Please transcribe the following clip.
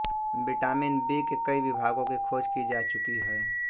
vitamin B के कई विभागों की खोज की जा चुकी है